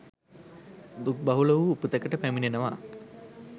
දුක් බහුල වූ උපතකට පැමිණෙනවා